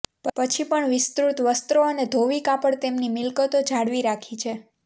પછી પણ વિસ્તૃત વસ્ત્રો અને ધોવી કાપડ તેમની મિલકતો જાળવી રાખી છે